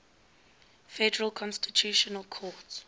federal constitutional court